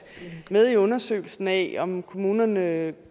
med i undersøgelsen af om kommunerne